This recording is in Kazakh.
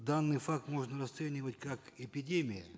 данный факт можно расценивать как эпидемию